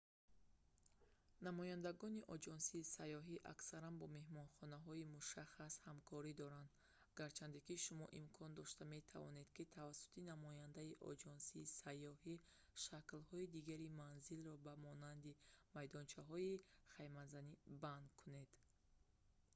намояндагони оҷонсиҳои сайёҳӣ аксаран бо меҳмонхонаҳои мушаххас ҳамкорӣ доранд гарчанде ки шумо имкон дошта метавонед ки тавассути намояндаи оҷонсии сайёҳӣ шаклҳои дигари манзилро ба монанди майдончаҳои хаймазанӣ банд кунед